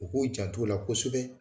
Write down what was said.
O k'u jant' ola kosɛbɛ